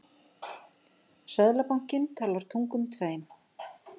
Seðlabankinn talar tungum tveim